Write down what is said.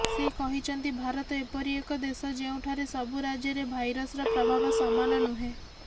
ସେ କହିଛନ୍ତି ଭାରତ ଏପରି ଏକ ଦେଶ ଯେଉଁଠାରେ ସବୁ ରାଜ୍ୟରେ ଭାଇରସର ପ୍ରଭାବ ସମାନ ନୁହେଁ